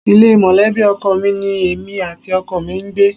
Ilé mọ̀lẹ́bì ọkọ mi ní èmi àti ọkọ mi ń gbé